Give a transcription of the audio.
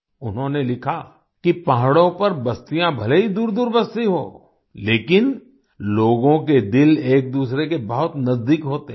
उन्होंने लिखा कि पहाड़ों पर बस्तियाँ भले ही दूरदूर बसती हों लेकिन लोगों के दिल एकदूसरे के बहुत नजदीक होते हैं